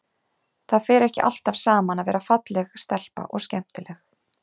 Það fer ekki alltaf saman að vera falleg stelpa og skemmtileg.